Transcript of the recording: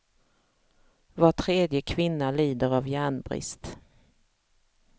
Var tredje kvinna lider av järnbrist.